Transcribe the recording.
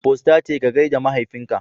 Postate ka gaida mahaifinka.